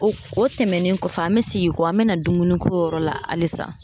O o tɛmɛnen kɔfɛ an be segin kɔ an be na dumuniko yɔrɔ la alisa